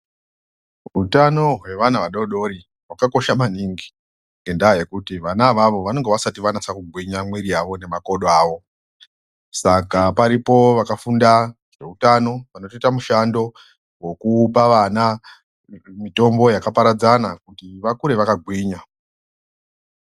Hutano hwe vana vadodori hwaka kosha maningi ngenda yekuti vana ivavo vanenge vasati vanyatso gwinya mwiri yavo nema kodo awo saka paripo vakafunda veutano vanotoita mishando wekupa vana mitombo yaka paradzana kuti vakure vaka gwinya.